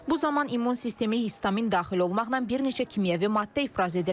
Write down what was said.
Bu zaman immun sistemi histamin daxil olmaqla bir neçə kimyəvi maddə ifraz edir.